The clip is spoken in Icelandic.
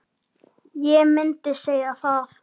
Ég myndi segja það.